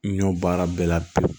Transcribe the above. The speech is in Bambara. N y'o baara bɛɛ la bi